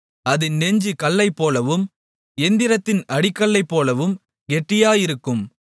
அதின் நெஞ்சு கல்லைப்போலவும் எந்திரத்தின் அடிக்கல்லைப்போலவும் கெட்டியாயிருக்கும்